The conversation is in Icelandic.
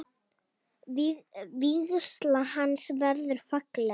Vígsla hans verður falleg.